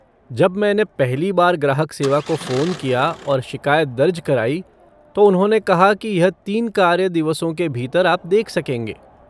जब मैंने पहली बार ग्राहक सेवा को फ़ोन किया और शिकायत दर्ज कराई, तो उन्होंने कहा कि यह तीन कार्य दिवसों के भीतर आप देख सकेंगे।